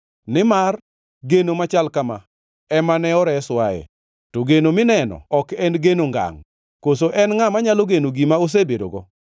Nimar geno machal kama ema ne oreswae. To geno mineno ok en geno ngangʼ. Koso en ngʼa manyalo geno gima osebedogo?